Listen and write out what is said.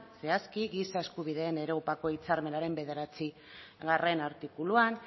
zehazki giza eskubideen europako hitzarmenaren bederatzigarrena artikuluan